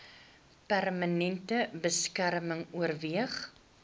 permanente beskerming oorweeg